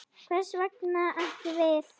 Hvers vegna ekki við?